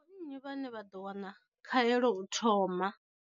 Ndi vho nnyi vhane vha ḓo wana khaelo u thoma?